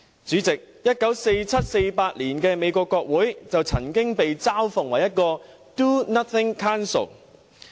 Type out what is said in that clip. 主席 ，1947 年、1948年的美國國會曾經被嘲諷為 "a do-nothing Council"。